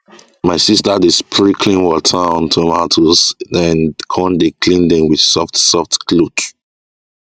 my sister dey spray clean water on tomatoes den con clean dem with soft soft cloth